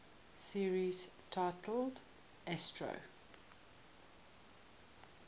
series titled astro